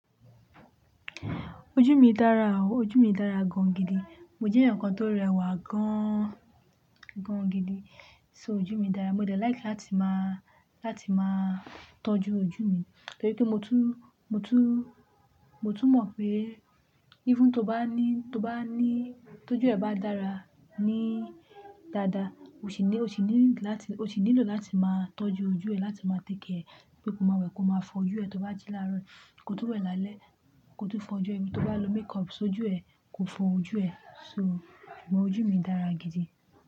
Ojú mi dára o, ojú mi dára gan gidi. Mo jẹ́ èèyàn kan tó rẹwà gaaan, gan gidi. So ojú mi dára. Mo dẹ̀ like láti máa, láti máa tọ́jú ojú mi, torí pé mo tún, mo tún, mo tún mọ̀ pé even tó bá ní, tó bá ní, tọ́jú ẹ bá dára, ní dáadáa, o sì ní, o sì ní láti, o sì nílò láti máa tọ́jú ojú ẹ, láti máa tékià ẹ̀, kí ó máa wẹ̀, kó máa fọ ojú ẹ tó bá ti láárọ̀, kó tó wẹ̀ lálẹ́, kó tó fọ ojú ẹ, Abí tó bá lo makeup, ṣ'ojú ẹ kò fọ ojú ẹ? So, mo ojú mi dára gidi.